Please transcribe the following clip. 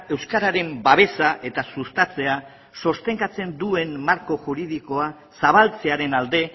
euskararen babesa eta sustatzea sostengatzen duen marko juridikoa zabaltzearen alde